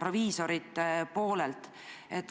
proviisorite poolelt.